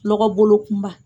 Lɔgɔ bolo kunba